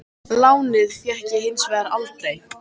Lánið fékk ég hins vegar aldrei.